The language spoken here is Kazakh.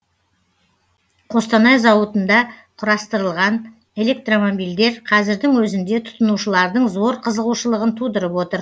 қостанай зауытында құрастырылған электромобильдер қазірдің өзінде тұтынушылардың зор қызығушылығын тудырып отыр